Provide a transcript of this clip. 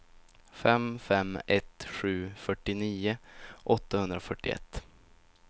fem fem ett sju fyrtionio åttahundrafyrtioett